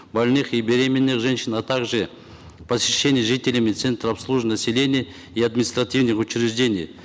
больных и беременных женщин а также посещение жителями центр обслуживания населения и административных учреждений